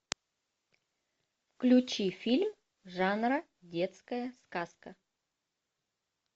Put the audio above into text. включи фильм жанра детская сказка